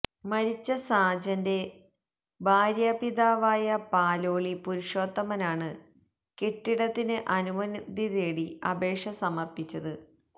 മരിച്ച സാജന്റെ ഭാര്യാപിതാവായ പാലോളി പുരുഷോത്തമനാണ് കെട്ടിടത്തിന് അനുമതി തേടി അപേക്ഷ സമര്പ്പിച്ചത്